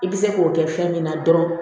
I bɛ se k'o kɛ fɛn min na dɔrɔn